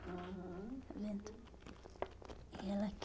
Aham. Está vendo? E ela aqui.